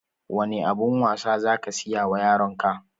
Wane abun wasa za ka siya wa yaron ka?